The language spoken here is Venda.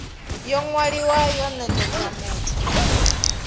yo ṅwaliwaho yo nekedzwa muthu